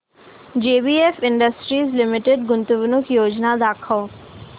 JBF industries limited गुंतवणूक योजना दाखव